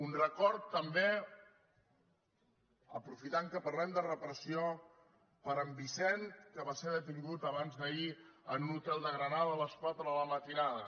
un record també aprofitant que parlem de repressió per a en vicenç que va ser detingut abans d’ahir en un hotel de granada a les quatre de la matinada